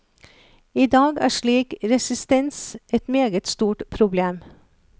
I dag er slik resistens et meget stort problem.